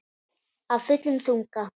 Af fullum þunga.